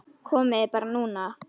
Komiði bara núna.